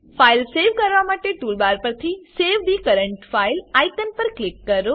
file save કરવા માટેટૂલ bar પરથી save the current file icon પર ક્લિક કરો